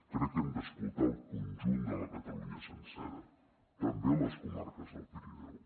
crec que hem d’escoltar el conjunt de la catalunya sencera també les comarques del pirineu